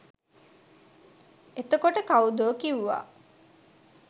එතකොට කව්දෝ කිව්වා